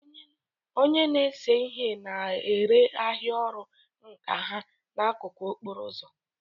Onye na-ese ihe na-ere ahịa ọrụ nka ha n'akụkụ okporo ụzọ.